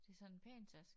Det sådan en pæn taske